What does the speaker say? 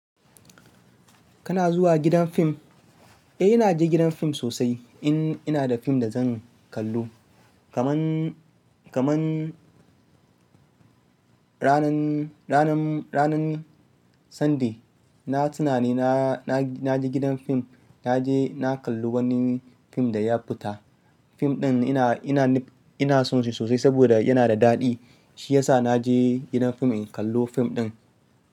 Kana zuwa gidan fim? Eh, ina je gidan fim sosai in ina da fim da zan kallo. Kaman, kaman ranan, ranan, ranan Sunday na tunani na, na je gidan fim. Na je na kalli wani fim da ya fita. Fim ɗin ina, ina ni, ina son shi sosai saboda yana da daɗi. Shi ya sa na je gidan fim in kallo fim ɗin.